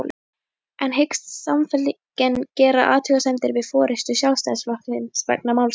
En hyggst Samfylkingin gera athugasemdir við forystu Sjálfstæðisflokksins vegna málsins?